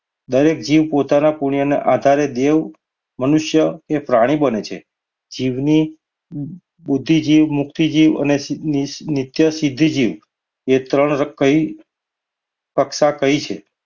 દરેક જીવ પોતાના પુણ્યના આધારે દેવ, મનુષ્ય કે પ્રાણી બને છે. જીવની બુદ્ધિ જીવ, મુક્તિ જીવ અને નિ~નિત્ય સિદ્ધિ જીવ એ ત્રણ કઈ કક્ષા કઈ છે